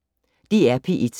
DR P1